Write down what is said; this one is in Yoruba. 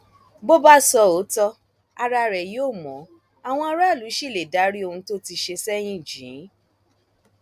bó bá sọ òótọ ara rẹ yóò mọ àwọn aráàlú ṣì lè dárí ohun tó ti ṣe sẹyìn jì í